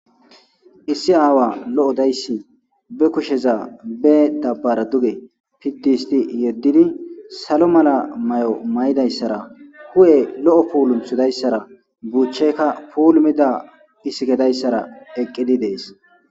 issi aawa lo7odayssi be kusheza be dabbara duge piddihisti yeddidi salo mala may7o may7idayssara hu7e lo7o puulumhudayssara buuchcheykka puulumida isikedayssara eqqidi dees